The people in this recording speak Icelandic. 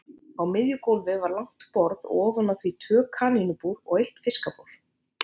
Á miðju gólfi var langt borð og ofan á því tvö kanínubúr og eitt fiskabúr.